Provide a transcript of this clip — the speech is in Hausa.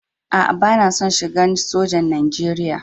Aa, bana son shigan sojan Nijeriya.